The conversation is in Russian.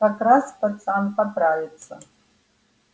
как раз пацан поправится